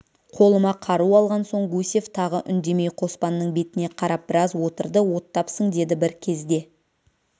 қолыма қару алған соң гусев тағы үндемей қоспанның бетіне қарап біраз отырды оттапсың деді бір кезде